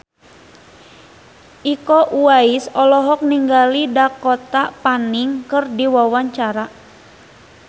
Iko Uwais olohok ningali Dakota Fanning keur diwawancara